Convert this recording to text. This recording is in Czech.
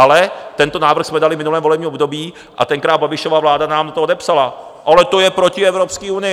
Ale tento návrh jsme dali v minulém volebním období a tenkrát Babišova vláda nám na to odepsala: Ale to je proti Evropské unii.